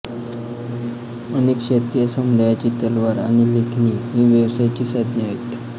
अनेक शतके या समुदायाची तलवार आणि लेखणी ही व्यवसायाची साधने आहेत